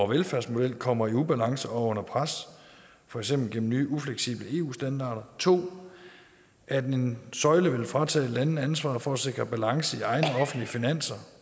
velfærdsmodel kommer i ubalance og under pres for eksempel gennem nye ufleksible eu standarder 2 at en søjle vil fratage landene ansvaret for at sikre balance i egne offentlige finanser